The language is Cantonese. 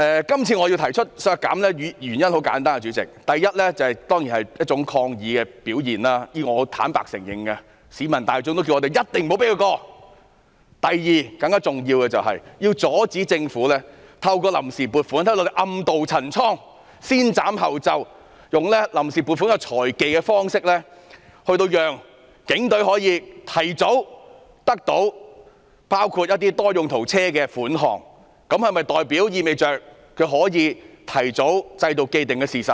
今次我提出削減警務處開支的原因很簡單，第一，當然是抗議的表現，我是坦白承認的，市民也叫我們一定不要讓議案通過；第二，更加重要的是阻止政府透過臨時撥款暗渡陳倉，先斬後奏，用臨時撥款這項財技，令警隊可以提早獲得包括購買多用途車輛的款項，意味着警隊可以提早購買，製造既定事實。